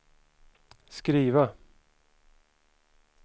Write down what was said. skriva